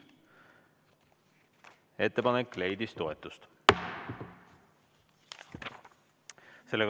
Ettepanek leidis toetust.